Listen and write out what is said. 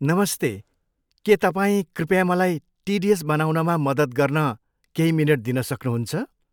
नमस्ते, के तपाईँ कृपया मलाई टिडिएस बनाउनमा मद्दत गर्न केही मिनेट दिन सक्नु सक्नुहुन्छ?